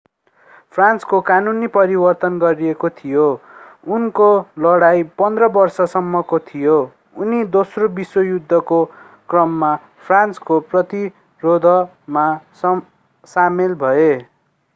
फ्रान्सको कानून परिवर्तन गरिएको थियो उनको लडाईं 15 बर्ष सम्मको थियो उनी दोस्रो विश्वयुद्धको क्रममा फ्रान्सको प्रतिरोधमा सामेल भए